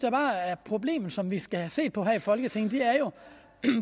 er problemet som vi skal have set på her i folketinget er jo